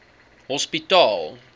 hospitaal